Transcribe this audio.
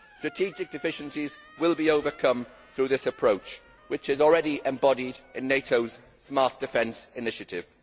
Strategic deficiencies will be overcome through this approach which is already embodied in NATOʼs smart defence initiative.